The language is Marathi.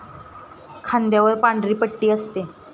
खांद्यावर पांढरी पट्टी असते